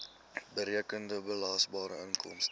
berekende belasbare inkomste